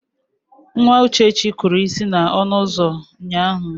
Nwa Uchechi kụrụ isi n'ọnụ ụzọ ụnyaahụ.